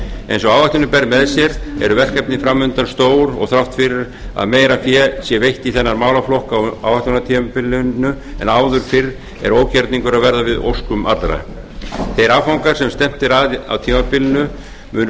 eins og áætlunin ber með sér eru verkefni fram undan stór og þrátt fyrir að meira fé sé veitt í þennan málaflokk á áætlunartímabilinu en áður fyrr er ógerningur að verða við óskum allra þeir áfangar sem stefnt er að á tímabilinu munu